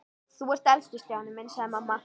Þú ert elstur Stjáni minn sagði mamma.